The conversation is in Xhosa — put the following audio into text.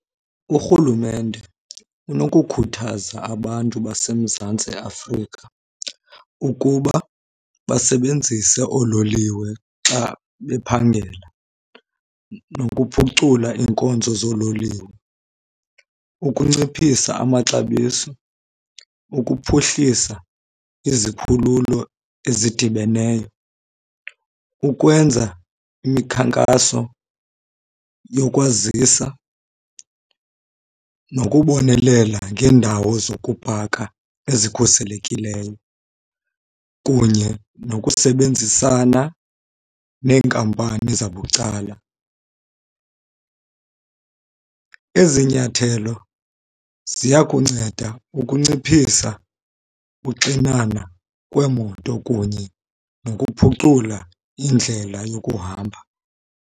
Urhulumente unokukhuthaza abantu baseMzantsi Afrika ukuba basebenzise oololiwe xa bephangela, nokuphucula iinkonzo zoololiwe, ukunciphisa amaxabiso, ukuphuhlisa izikhululo ezidibeneyo, ukwenza imikhankaso yokwazisa, nokubonelela ngeendawo zokupaka ezikhuselekileyo, kunye nokusebenzisana neenkampani zabucala. Ezi nyathelo ziya kunceda ukunciphisa uxinana kweemoto kunye nokuphucula indlela yokuhamba.